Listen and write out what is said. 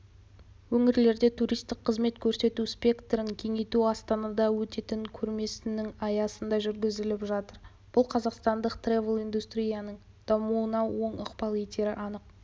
өңірлерде туристік қызмет көрсету спектрін кеңейту астанада өтетін көрмесінің аясында жүргізіліп жатыр бұл қазақстандық трэвел-индустрияның дамуына оң ықпал етері анық